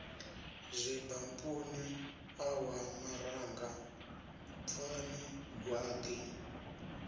zwibampuni ṋawa maranga bvani gwaḓi